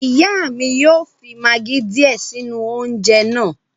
Ìyá mi yóò fi magí díè sínú oúnjẹ náà